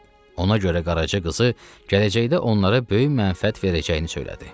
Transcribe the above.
Ona görə qaraçı qızı gələcəkdə onlara böyük mənfəət verəcəyini söylədi.